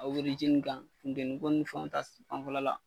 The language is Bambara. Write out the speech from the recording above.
A kan funtɛnniko ni fɛnw ta fanfɛla la.